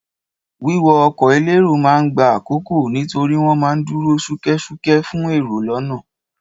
Wíwọ ọkọ̀ elérò ma ń gba àkókò nítorí wọ́n ma ń dúró ṣúkẹ́ṣúkẹ́ fún èrò lọ́nà.